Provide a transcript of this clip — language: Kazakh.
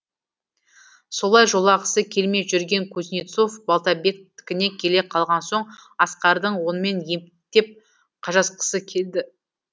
солай жолағысы келмей жүрген кузнецов балтабектікіне келе қалған соң асқардың онымен ептеп қажасқысы келді